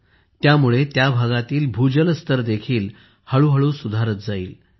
यामुळे त्याभागातील भूजल स्तर देखील हळूहळू सुधारत जाईल